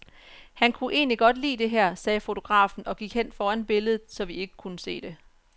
Han kunne egentlig godt lide det her, sagde fotografen og gik hen foran billedet, så vi ikke kunne se det.